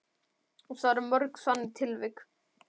Og það eru mörg þannig tilvik?